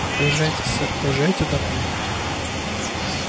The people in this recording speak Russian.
поезжайте сэр поезжайте домой